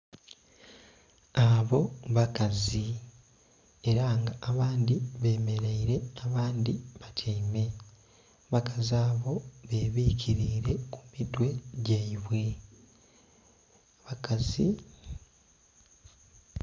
Abo bakazi era nga abandhi bameraire abandhi batyaime abakazi abo bebikirire emitwe gyaibwe bakazi.